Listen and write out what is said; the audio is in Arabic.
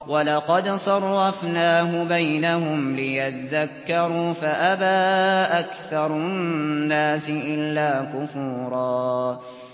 وَلَقَدْ صَرَّفْنَاهُ بَيْنَهُمْ لِيَذَّكَّرُوا فَأَبَىٰ أَكْثَرُ النَّاسِ إِلَّا كُفُورًا